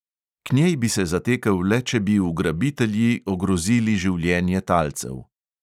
K njej bi se zatekel le, če bi ugrabitelji ogrozili življenje talcev.